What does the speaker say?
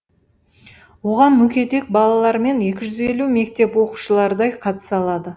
оған мүгедек балалар мен екі жүз елу мектеп оқушылардай қатыса алады